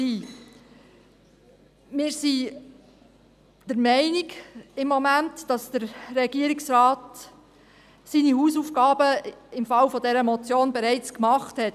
Wir sind im Moment der Meinung, dass der Regierungsrat seine Hausaufgaben im Fall dieser Motion bereits gemacht hat.